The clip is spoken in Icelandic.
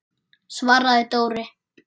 svaraði Dóri.